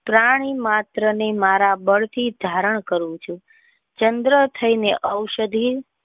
પ્રાણી માત્રને મારા બ અલ થી ધારણ કરું છું ચંદ્ર થઈ ને ઔષધિ.